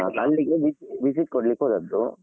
ಅಲ್~ ಅಲ್ಲಿಗೆ vis~ visit ಕೊಡ್ಲಿಕ್ಕೆ ಹೋದದ್ದು.